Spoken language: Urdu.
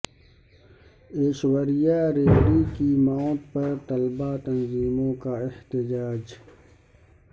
ایشوریہ ریڈی کی موت پر طلباء تنظیموں کا احتجاج